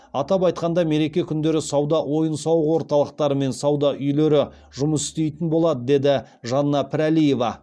атап айтқанда мереке күндері сауда ойын сауық орталықтары мен сауда үйлері жұмыс істейтін болады деді жанна пірәлиева